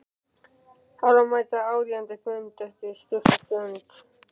Þarf að mæta á áríðandi fund eftir stutta stund.